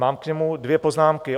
Mám k němu dvě poznámky.